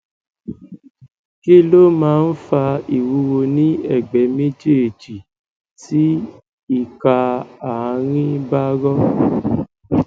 kí ló máa ń fa ìwúwo ní ẹgbẹ méjèèjì tí ìka àárín bá rọ